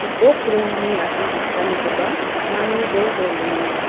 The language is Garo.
gipok rongni asongchakanikoba pakmani joljol donenga.